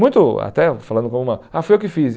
Muito até falando como uma... Ah, foi eu que fiz.